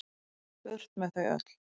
Burt með þau öll.